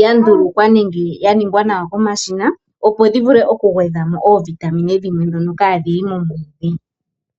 ya ndulukwa nenge ya ningwa komashina opo yigwedhe mo oovitamine ndhono kaadhi li moomwiidhi